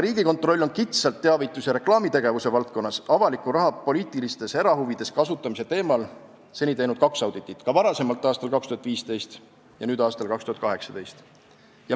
Riigikontroll on kitsalt teavitus- ja reklaamitegevuse valdkonnas avaliku raha poliitilistes erahuvides kasutamise teemal seni teinud kaks auditit: aastal 2015 ja nüüd aastal 2018.